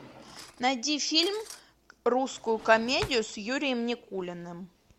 найди фильм русскую комедию с юрием никулиным